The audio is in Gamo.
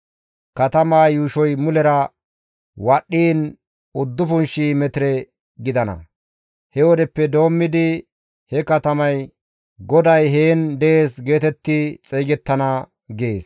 Katama yuushoy mulera wadhdhiin 9,000 metire gidana. He wodeppe doommidi he katamay, ‹GODAY heen dees› geetetti xeygettana» gees.